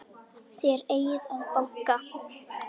Þér eigið að banka!